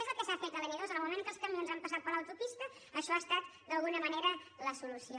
és el que s’ha fet a la n·ii en el moment en què els camions han passat per l’autopista això ha estat d’alguna manera la solució